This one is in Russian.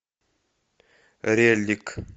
реллик